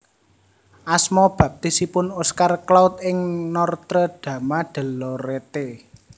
Asma baptisipun Oscar Claude ing Nortre Dame de Lorette